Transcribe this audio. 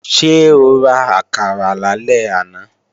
Ṣé o ra àkàrà lálẹ́ àná?